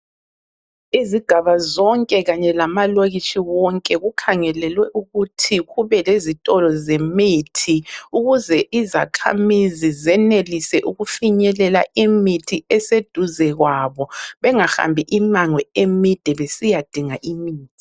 Izigaba zonke kanye lamalokitshi wonke kukhangelelwe ukuthi kube lezitolo zemithi ukuze izakhamizi zenelise ukufinyelela imithi eseduze kwabo bengahambi imango emide besiyadinga imithi.